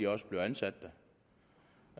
også bliver ansat